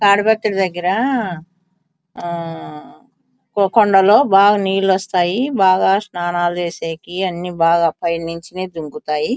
తాడిపత్రి దగ్గర ఆహ్ ఒక కొండలో బాగా నీళ్ళు వస్తాయి బాగా స్నానాలు చేసేకి అన్ని బాగా పైనుంచి నీరు దుంకుతాయి.